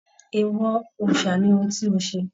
Eewọ òòsà ní òun tí o ṣe!